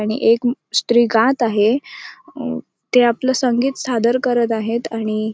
आणि एक स्त्री गात आहे अ ते आपल संगीत सादर करत आहेत आणि --